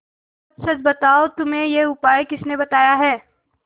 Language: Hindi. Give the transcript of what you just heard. सच सच बताओ तुम्हें यह उपाय किसने बताया है